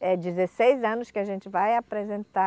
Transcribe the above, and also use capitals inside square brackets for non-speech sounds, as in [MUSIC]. [UNINTELLIGIBLE] dezesseis anos que a gente vai apresentar.